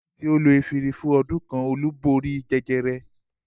Lẹ́yìn tí ó ti lo efirin fún ọdún kan Olú borí jẹjẹrẹ.